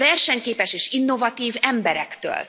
A versenyképes és innovatív emberektől.